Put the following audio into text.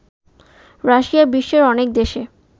Russia বিশ্বের অনেক দেশে